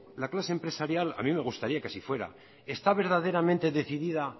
la clase empresarial a mí me gustaría que así fuera está verdaderamente decidida